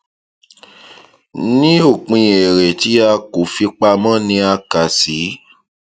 ní òpin èrè tí a kò fi pamọ ni a kà sí